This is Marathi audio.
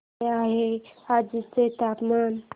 काय आहे आजर्याचे तापमान